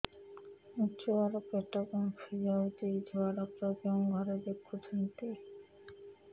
ମୋ ଛୁଆ ର ପେଟ ଫାମ୍ପି ଯାଉଛି ଛୁଆ ଡକ୍ଟର କେଉଁ ଘରେ ଦେଖୁ ଛନ୍ତି